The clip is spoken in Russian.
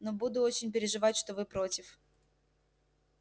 но буду очень переживать что вы против